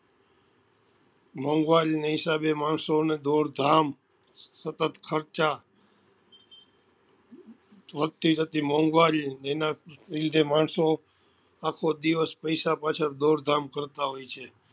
નાં હિસાબે માણસો ને દોડધામ સતત ખર્ચા વધતી જતી મોઘવારીઓ એના લીધે માણસો આખો દિવસ પૈસા પાછળ દોડધામ કરતા હોય છે